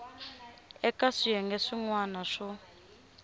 eka swiyenge swin wana swo